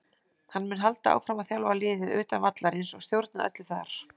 Hann mun halda áfram að þjálfa liðið utan vallarins og stjórna öllu þar.